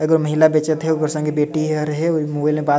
एगो महिला बेचत है ओकर संगे बेटी हा रहै और ऊ मोबाइल में बात --